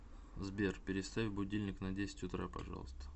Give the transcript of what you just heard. сбер переставь будильник на десять утра пожалуйста